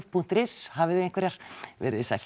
punktur is hafiði einhverjar veriði sæl